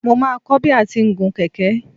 Mo máa kọ́ bi a ti ń gun kẹ̀kẹ́.